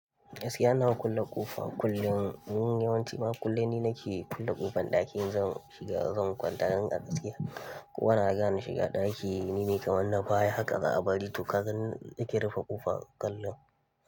Gaskiya ina kulle ƙofa kullum, yawanci ma kullum ni nake kulle ƙofan ɗaki in zan shiga, zan kwanta, dan a gaskiya. Kowa na gane shiga ɗaki nime kamar na baya haka, za a bari tokaga ni nake rufe ƙofar kullum.